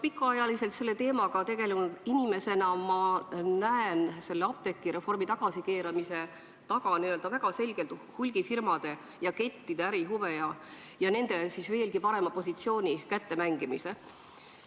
Pikka aega selle teemaga tegelenud inimesena näen ma apteegireformi tagasikeeramise taga väga selgelt hulgifirmade ja kettide ärihuve ning nendele veelgi parema positsiooni kättemängimist.